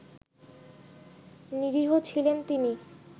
নিরীহ ছিলেন তিনি